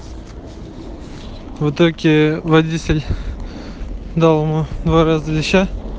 в итоге водитель дал ему два раза леща